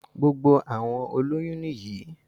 Gbogbo àwọn olóyún nìyí